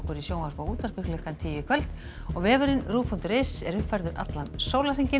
í sjónvarpi og útvarpi klukkan tíu í kvöld og vefurinn ruv punktur is er uppfærður allan sólarhringinn